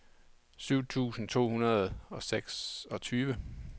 syv tusind to hundrede og seksogtyve